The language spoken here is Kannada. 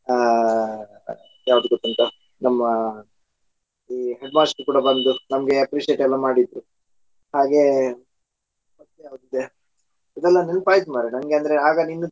ಆ ಯಾವ್ದು ಗೋತ್ತುಂಟ ನಮ್ಮ ಈ headmaster ಕೂಡಾ ಬಂದು ನಮ್ಗೆ appreciate ಎಲ್ಲಾ ಮಾಡಿದ್ದು ಹಾಗೆ ಮತ್ತೆ ಯಾವುದ್ ಇದೆ ಇದೆಲ್ಲ ನೆನಪಾಯ್ತು ಮಾರಾಯಾ ನನ್ಗೆ ಅಂದ್ರೆ ಆಗ ನೀನು .